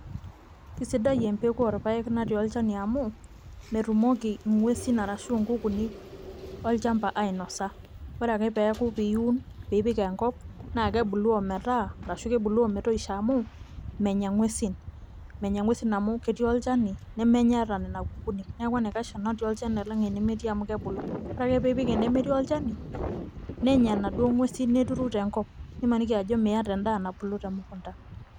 Kesidai empeku orpaek natii olchani amu metumoki ng'uesin arashu nkukuuni olchamba ainasa ore ake pee iun pee ipik enkop naa kebulu ometaa arashu kebulu ometoisho amu menya nguesin, menya nguesin amu ketii olchani nemenya hata nena kukuuni, neeku enaikasha enatii olchani enemetii amu kebulu, ore ake pee ipik enemetii olchani nenya inaduoo nguesi neturu tenkop nimaniki ajo miata endaa nabulu temukunda.